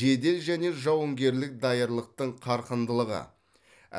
жедел және жауынгерлік даярлықтың қарқындылығы